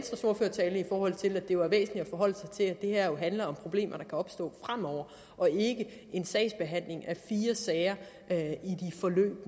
forhold til at det var væsentligt at forholde sig til at det her jo handler om problemer der kan opstå fremover og ikke en sagsbehandling af fire sager